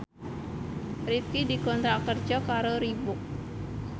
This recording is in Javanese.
Rifqi dikontrak kerja karo Reebook